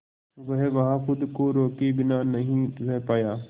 वह वहां खुद को रोके बिना नहीं रह पाया